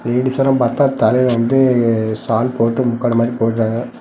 லேடிஸ்லாம் பாத்தா தலையில வந்து ஷால் போட்டு முக்காடு மாரி போட்றாங்க.